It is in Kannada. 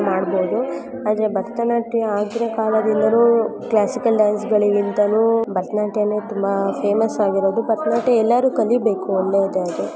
ಮಾಡಬಹುದು-- ಆದರೆ ಭರತನಾಟ್ಯ ಈ ನಾಟ್ಯವೇ ತುಂಬಾ ಫೇಮಸ್ ಆಗಿರೋದು ಆದ್ರಿಂದ ಎಲ್ಲರೂ ಕಲಿಬೇಕು ಅನ್ನೋ ಉದ್ದೇಶ ಇದೆ.